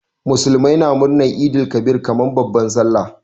Muslimai na murnar Eid el Kabir kaman babban sallah.